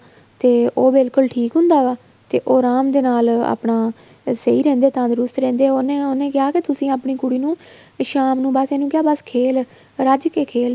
ਤੇ ਉਹ ਬਿਲਕੁਲ ਠੀਕ ਹੁੰਦਾਗਾ ਤੇ ਉਹ ਆਰਾਮ ਦੇ ਨਾਲ ਆਪਣਾ ਸਹੀਂ ਰਹਿੰਦੀ ਏ ਤੰਦਰੁਸਤੀ ਰਹਿੰਦੀ ਏ ਉਹਨੇ ਕਿਹਾ ਤੁਸੀਂ ਆਪਣੀ ਕੁੜੀ ਨੂੰ ਸ਼ਾਮ ਨੂੰ ਬੱਸ ਇਹਨੂੰ ਕਿਹਾ ਬੱਸ ਖੇਲ ਰੱਜਕੇ ਖੇਲ